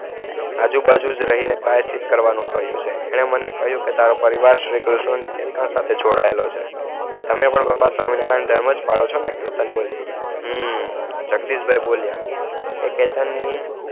આજુબાજુ રહી ને પ્રાયચીત કરવાનું કહીંયુ છે એને મને કહીંયુ કે ટેરો પરિવાર શ્રીકૃષ્ણ સાથે જોડાયેલો છે તમે પણ પપ્પા સ્વામિનારાયણ ધર્મ જ પાલો છો ને કેતન બોલિયો હમ્મ જગદીશ ભાઈ બોલિયાં કે કેતન